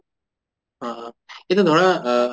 অহ অহ কিন্তু ধৰা অহ